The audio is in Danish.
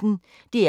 DR P1